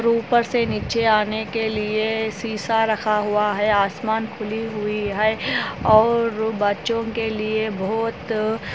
चित्र में दिखाई दे रहा है वाटरफ़्लो